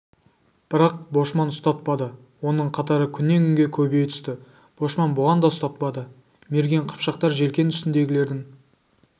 бірақ бошман ұстатпады оның қатары күннен-күнге көбейе түсті бошман бұған да ұстатпады мерген қыпшақтар желкен үстіндегілердің